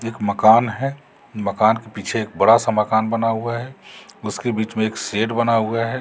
मकान है मकान के पीछे एक बड़ा सा मकान बना हुआ है उसके बीच में एक शेड बना हुआ है।